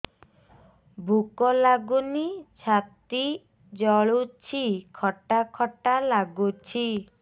ଭୁକ ଲାଗୁନି ଛାତି ଜଳୁଛି ଖଟା ଖଟା ଲାଗୁଛି